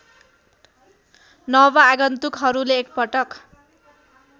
नव आगन्तुकहरूले एकपटक